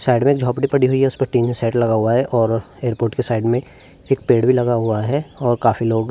side में एक झोपड़ी पड़ी हुई है उसपे टिन का शैड भी लगा हुए है और एयरपोर्ट के साइड में एक पेड़ भी लगा हुआ है और काफी लोग--